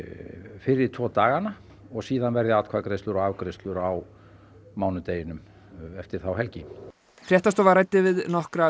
fyrri tvo dagana og síðan verði atkvæðagreiðslur og afgreiðslur á mánudeginum eftir þá helgi fréttastofa ræddi við nokkra af